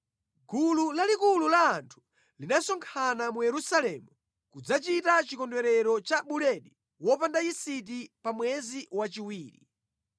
Gulu lalikulu la anthu linasonkhana mu Yerusalemu kudzachita chikondwerero cha Buledi Wopanda Yisiti pa mwezi wachiwiri.